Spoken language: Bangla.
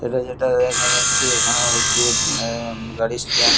এটা যেটা দেখা যাচ্ছে এটা হচ্ছে এ এ গাড়ির স্ট্যান্ড --